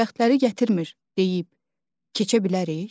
Bəxtləri gətirmir deyib keçə bilərik?